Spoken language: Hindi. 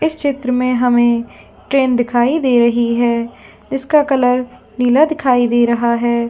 इस चित्र में हमें ट्रेन दिखाई दे रही है इसका कलर नीला दिखाई दे रहा है।